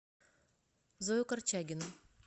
зою корчагину